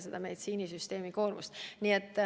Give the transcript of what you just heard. See vähendab ka meditsiinisüsteemi koormust.